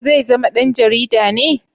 Zai zama dan jarida ne?